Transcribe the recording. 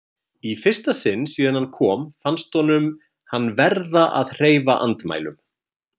Í fyrsta sinn síðan hann kom fannst honum hann verða að hreyfa andmælum.